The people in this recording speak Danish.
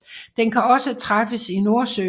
Den kan også træffes i Nordsøen